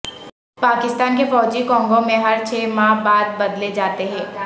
پاکستان کے فوجی کونگو میں ہر چھ ماہ بعد بدلے جاتے ہیں